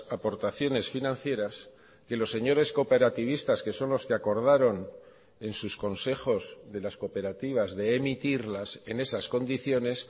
aportaciones financieras que los señores cooperativistas que son los que acordaron en sus consejos de las cooperativas de emitirlas en esas condiciones